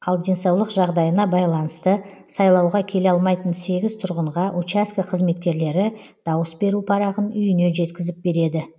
ал денсаулық жағдайына байланысты сайлауға келе алмайтын сегіз тұрғынға учаскі қызметкерлері дауыс беру парағын үйіне жеткізіп береді